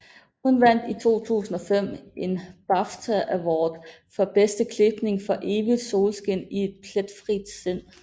Hun vandt i 2005 en BAFTA Award for bedste klipning for Evigt solskin i et pletfrit sind